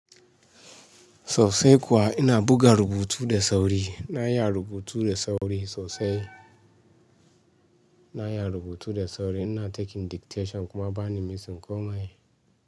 Sosai kuwa ina buga rubutu da sauri, na iya rubutu da sauri sosai. Na iya rubutu da sauri, ina taking dictation kuma bani missing komai.